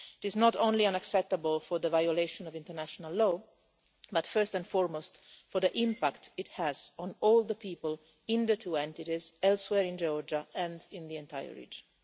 It is not only unacceptable for the violation of international law, but first and foremost for the impact it has on all the people in the two entities, elsewhere in Georgia and in the entire region.